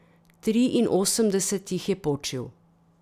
Triinosemdeset jih je počil.